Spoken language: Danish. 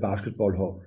basketballlandshold